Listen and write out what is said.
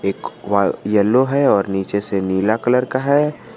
एक wall yellow है और नीचे से नीला कलर का है।